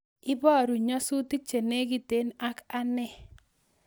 Ibarun nyasutik chenegiten ak ane